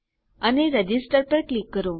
અને રજિસ્ટર પર ક્લિક કરો